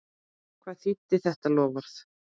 Hvað þýddi þetta loforð?